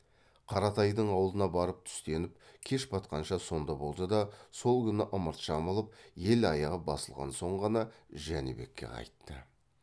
қаратайдың аулына барып түстеніп кеш батқанша сонда болды да сол күні ымырт жабылып ел аяғы басылған соң ғана жәнібекке қайтты